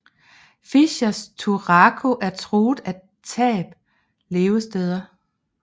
Fischers turako er truet af tab af levesteder